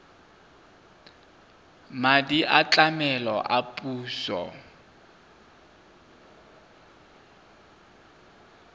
madi a tlamelo a puso